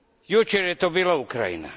Jučer je to bila Ukrajina.